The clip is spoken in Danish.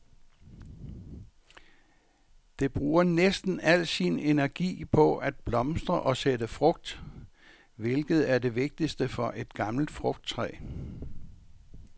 Det bruger næsten al sin energi på at blomstre og sætte frugt, hvilket er det vigtigste for et gammelt frugttræ.